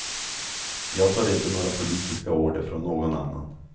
Jag tar inte några politiska order från någon annan.